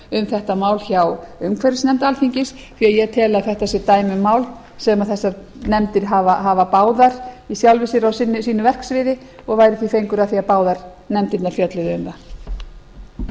um þetta mál hjá umhverfisnefnd alþingis því að ég tel að þetta sé dæmi um mál sem þessar nefndir hafa báðar í sjálfu sér á sínu verksviði og væri því fengur að því að báðar nefndirnar fjölluðu um það